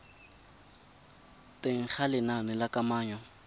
teng ga lenane la kananyo